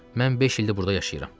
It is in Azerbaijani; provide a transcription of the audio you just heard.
Mən beş ildir burda yaşayıram.